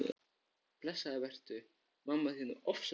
Blessaður vertu, mamma þín er ofsalega venjuleg.